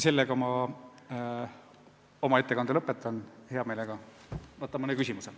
Sellega ma oma ettekande lõpetan ja hea meelega vastan mõnele küsimusele.